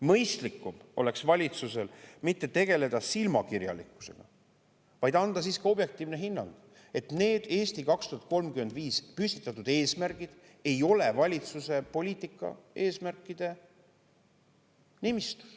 Mõistlikum oleks valitsusel mitte tegeleda silmakirjalikkusega, vaid anda siiski objektiivne hinnang, et need "Eesti 2035" püstitatud eesmärgid ei ole valitsuse poliitika eesmärkide nimistus.